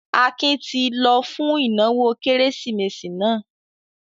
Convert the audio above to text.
Akin ti lọ fún ìnáwó Kérésìmesì náà?